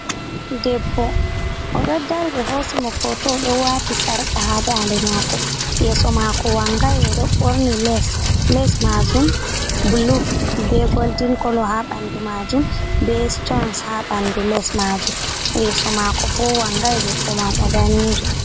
Debbo o ɗo dari ɓe hosimo foto o ɗo wati sarka haa nda nde mako, yeso mako wangai, o ɗo ɓorni les. Les majum bulu be goldin kolo haa bandu majum, be stons ha bandu les majum, yeso mako bo wangai. Debbo mam o danejo.